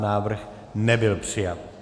Návrh nebyl přijat.